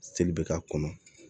Seli bɛ k'a kɔnɔ